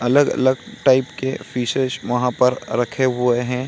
अलग-अलग टाइप के फिशेस वहाँ पर रखे हुए हैं।